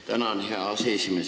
Tänan, hea aseesimees!